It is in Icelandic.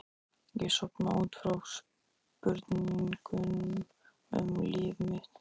Ég sofna út frá spurningum um líf mitt.